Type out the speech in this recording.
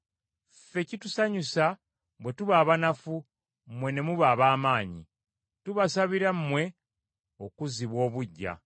Ffe kitusanyusa bwe tuba abanafu, mmwe ne muba ab’amaanyi. Tubasabira mmwe okuzzibwa obuggya.